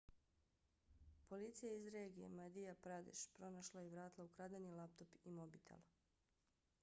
policija iz regije madhya pradesh pronašla je i vratila ukradeni laptop i mobitel